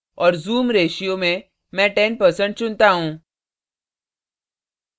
और zoom ratio ratio में मैं 10% चुनता हूँ